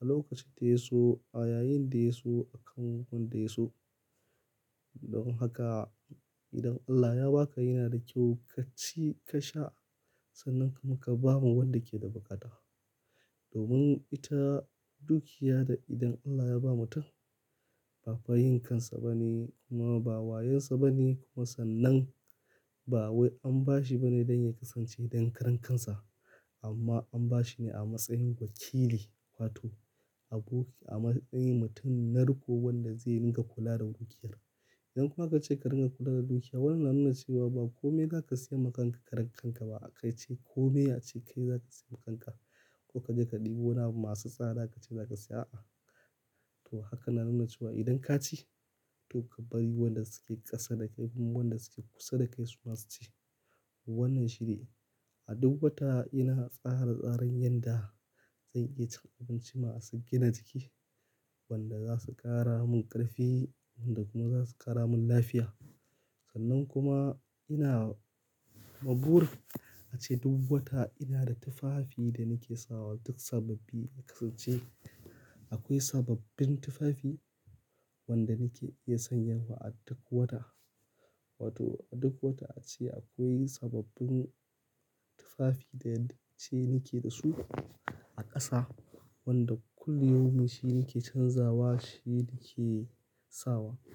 a lokacin da ya so, a yayin da ya so akan wanda ya so. Don haka idan Allah Ya baka yana da kyau kaci ka sha sannan kuma ka bama wanda ke da buƙata. Domin ita dukiya da idan Allah ya ba mutum ba fa yin kansa bane kuma ba wayonsa bane kuma sannan ba wai an bashi bane don ya kasance dankarankansa. Amma an bashi ne a matsayin wakili wato aboki a matsayin mutum na riko wanda zai rinƙa kula da dukiyar. Idan aka ce ka dinga kula da dukiya wannan na nuna cewa ba komai zaka siyan ma kanka karan kanka ba akace komai ace kai zaka siyanma kanka, ko kaje ka ɗebo abu masu tsada kace zaka siya to haka na nuna cewa idan ka ci to ka bari wanda suke ƙasa da kai kuma wanda suke kusa da kai su ma su ci. Wannan shi ne a duk wata ina tsara tsaren yadda zan iya cin abinci masu gina jiki wanda za su ƙara mun ƙarfi wanda kuma za su ƙara mun lafiya. Sannan kuma ina ma burin a ce duk wata ina da tufafi da nake sawa duk sababbi ya kasance akwai sababbin tufafi wanda nake iya sanyawa a duk wata. Wato a duk wata ace akwai sababbin tufafi da yanda ace nake da su a ƙasa wanda kulli yaumin shi nake canzawa shi nake sawa.